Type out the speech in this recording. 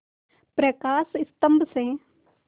प्रकाश स्तंभ से